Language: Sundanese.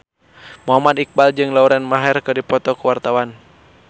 Muhammad Iqbal jeung Lauren Maher keur dipoto ku wartawan